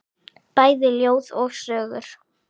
Bæði ljóð og sögur.